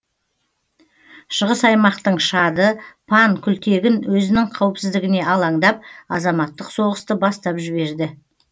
шығыс аймақтың шады пан күлтегін өзінің қауіпсіздігіне алаңдап азаматтық соғысты бастап жіберді